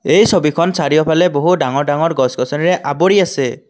এই ছবিখন চাৰিওফালে বহু ডাঙৰ ডাঙৰ গছ গছনিৰে আৱৰি আছে।